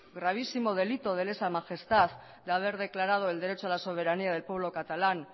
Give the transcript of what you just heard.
gravísimo delito de lesa majestad de haber declarado el derecho a la soberanía del pueblo catalán